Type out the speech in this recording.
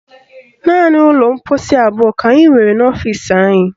Naanị ụlọ mkposi abụọ ka anyị nwere n'ọfisi anyị